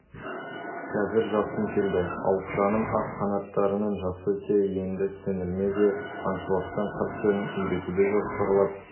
қазір жасым келді ал қыраным ақ қанаттарының жасы те енді сіңліме де аңшылықтың қыр-сырын үйретуді жоспарлап